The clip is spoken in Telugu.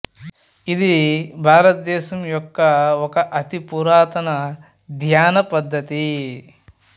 ఇది భారతదేశం యొక్క ఒక అతి పురాతన ధ్యాన పద్ధతి